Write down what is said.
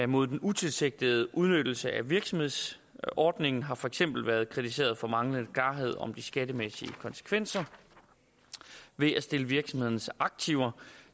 mod den utilsigtede udnyttelse af virksomhedsordningen har for eksempel været kritiseret for manglende klarhed om de skattemæssige konsekvenser ved at stille virksomhedernes aktiver